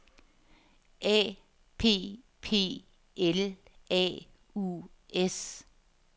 A P P L A U S